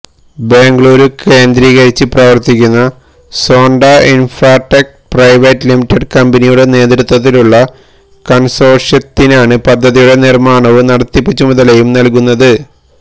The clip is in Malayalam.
ബാംഗ്ലൂര് കേന്ദ്രീകരിച്ച് പ്രവര്ത്തിക്കുന്ന സോന്ട ഇന്ഫ്രാടെക് പ്രൈവറ്റ് ലിമിറ്റഡ് കമ്പനിയുടെ നേതൃത്വത്തിലുള്ള കണ്സോര്ഷ്യത്തിനാണ് പദ്ധതിയുടെ നിര്മ്മാണവും നടത്തിപ്പ് ചുമതലയും നല്കുന്നത്